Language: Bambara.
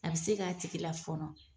A bi se k'a tigi lafɔɔnɔ.